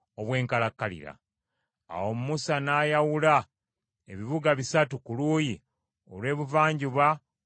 Awo Musa n’ayawula ebibuga bisatu ku luuyi olw’ebuvanjuba olw’omugga Yoludaani,